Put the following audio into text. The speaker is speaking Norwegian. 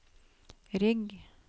rygg